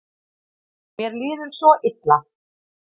Mér líður svo illa.